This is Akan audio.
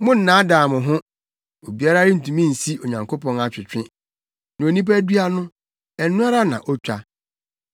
Monnnaadaa mo ho; obiara rentumi nsi Onyankopɔn atwetwe. Nea onipa dua no, ɛno ara na otwa.